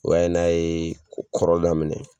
O ye n'a yee kɔrɔ Daminɛ